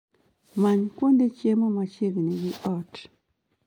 Many kuonde chiemo machiegni gi ot